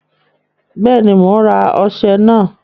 Bẹ́ẹ̀ni, mò ń rà ọṣẹ náà